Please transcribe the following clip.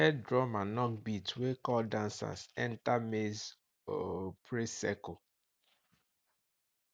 head drummer knock beat wey call dancers enter maize um praise circle